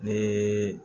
Ni